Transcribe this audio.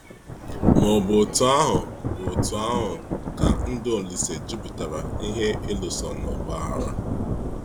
Ma ọ bụ otú ahụ bụ otú ahụ ka ndụ Ȯlísè jupụtara n’ihe ịlụso na ọ̀gbọ̀ aghara.